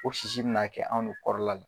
O sisi bina kɛ anw de kɔrɔla la.